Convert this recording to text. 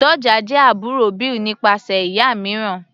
Doja jẹ́ àbúrò Bill nípasẹ̀ ìyá mìíràn.